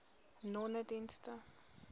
nonedienste